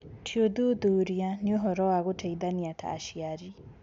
Ti ũthuthuria, nĩ ũhoro wa gũteithania ta aciari